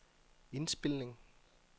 indspilning